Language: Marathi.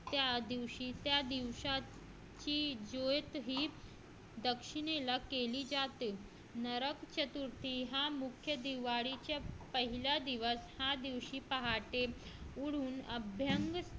त्या दिवशी त्या दिवसात हे ज्योतही दक्षिणेला केली जाते नरक चतुर्थी हा मुख्य दिवाळी पहिला दिवस ह्या दिवशी पहाटे उठून अभंग